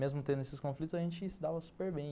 Mesmo tendo esses conflitos, a gente se dava super bem.